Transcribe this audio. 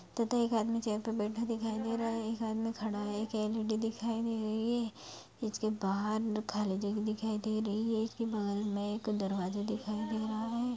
तथा एक आदमी चेयर पे बैठा दिखाई दे रहा है। एक आदमी खड़ा है एक लेडी दिखाई दे रही है। इसके बहार खाली जगह दिखाई दे रही है। इसके बगल में एक दरवाजा दिखाई दे रहा है।